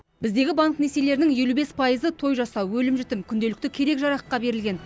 біздегі банк несиелерінің елу бес пайызы той жасау өлім жітім күнделікті керек жараққа берілген